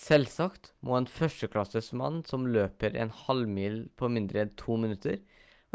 selvsagt må en førsteklasses mann som løper en halvmil på mindre enn 2 minutter